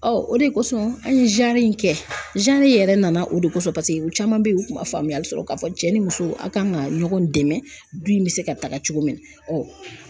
Ɔ o de kosɔn an ye in kɛ yɛrɛ nana o de kosɔn, paseke u caman bɛ yen, u tun ma faamuyali sɔrɔ k'a fɔ cɛ ni muso, aw kan ka ɲɔgɔn dɛmɛ du in bɛ se ka taga cogo min na.